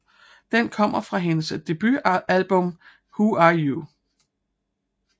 Den kommer fra hendes debutalbum Who You Are